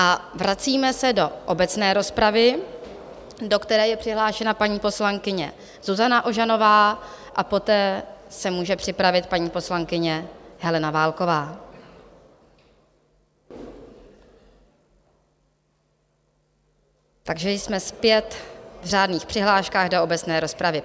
A vracíme se do obecné rozpravy, do které je přihlášena paní poslankyně Zuzana Ožanová, a poté se může připravit paní poslankyně Helena Válková, takže jsme zpět v řádných přihláškách do obecné rozpravy.